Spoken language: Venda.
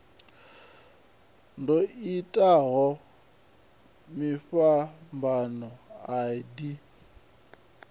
ḓo itaho tshifhambano a ḓi